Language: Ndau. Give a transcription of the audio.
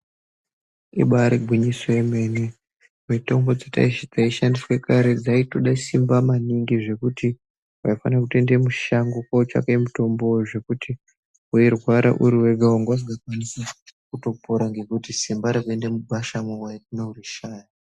Ibari ngwinyiso yemene mitombo dzaishandiswa kare dzaitoda simba maningi zvekuti vaifana kutoenda mushango kotsvake mitombo zvekuti weirwara uri wega vanga usingakwanise kutopora ngekuti simba rekuenda mugwasha wanorishaya.